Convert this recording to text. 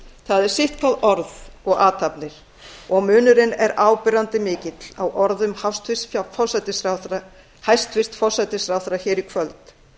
það er sitt hvað orð og athafnir og munurinn er áberandi mikill á orðum hæstvirts forsætisráðherra í kvöld